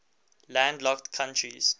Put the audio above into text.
landlocked countries